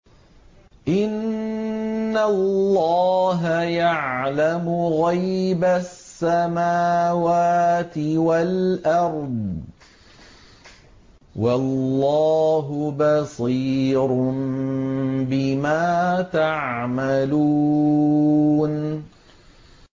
إِنَّ اللَّهَ يَعْلَمُ غَيْبَ السَّمَاوَاتِ وَالْأَرْضِ ۚ وَاللَّهُ بَصِيرٌ بِمَا تَعْمَلُونَ